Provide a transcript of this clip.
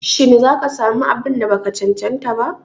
Shi za ka sa mu abun da ba ka cancanta ba?